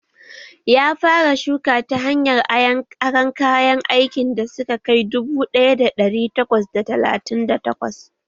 Ya fara shuka ta hanyar aron kayan aikin da suka kai dubu ɗaya da ɗari takwas da talatin da takwas